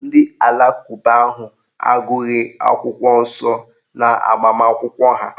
Ndị alakụba ahụ agụghị akwụkwọ nsọ n'agbamakwụkwọ ha